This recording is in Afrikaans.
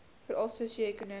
veral sosio ekonomies